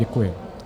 Děkuji.